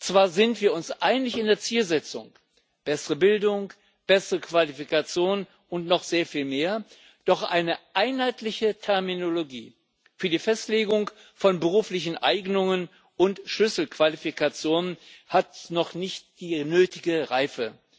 Zwar sind wir uns einig in der Zielsetzung bessere Bildung, eine bessere Qualifikation und noch sehr viel mehr doch eine einheitliche Terminologie für die Festlegung von beruflichen Eignungen und Schlüsselqualifikationen hat noch nicht die nötige Reife.